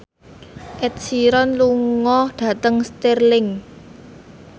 Ed Sheeran lunga dhateng Stirling